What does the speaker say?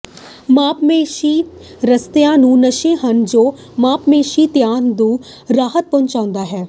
ਮਾਸਪੇਸ਼ੀ ਰਿਸਤਿਆਂ ਨੂੰ ਨਸ਼ੇ ਹਨ ਜੋ ਮਾਸਪੇਸ਼ੀ ਤਣਾਅ ਤੋਂ ਰਾਹਤ ਪਹੁੰਚਾਉਂਦੇ ਹਨ